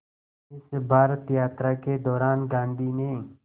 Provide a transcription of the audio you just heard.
इस भारत यात्रा के दौरान गांधी ने